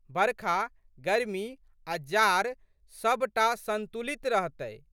बरखा, गरमी आ' जाड़ सब टा संतुलित रहतै।